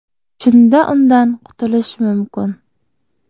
Shunda undan qutilish mumkin.